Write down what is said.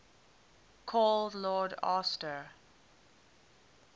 called lord astor